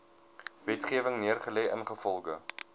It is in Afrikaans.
wetgewing neergelê ingevolge